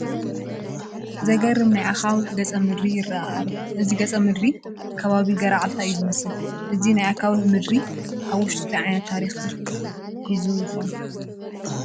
ዘግርም ናይ ኣኻውሕ ገፀ ምድሪ ይርአ ኣሎ፡፡ እዚ ገፀ ምድሪ ከባቢ ገረዓልታ እዩ ዝመስል፡፡ እዚ ናይ ኣኻውሕ ምድሪ ኣብ ውሽጡ እንታይ ዓይነት ታሪካት ሒዙ ይኾን?